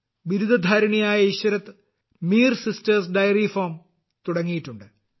ബിരുദധാരിണിയായ Ishrat Mir sisters dairy farm തുടങ്ങിയിട്ടുണ്ട്